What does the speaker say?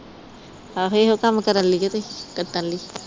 ਆਹੋ ਇਹੋ ਕੰਮ ਕਰਨ ਲਈ ਉਹ ਤੁਸੀ